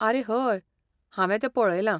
आरे हय! हांवें तें पऴयलां.